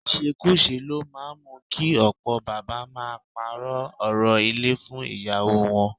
Ìṣekúṣe ló máa ń mú kí ọ̀pọ̀ bàbá máa parọ́ orò ilé fún ìyàwó wọn